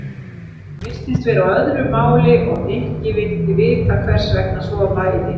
Hún virtist vera á öðru máli og Nikki vildi vita hvers vegna svo væri.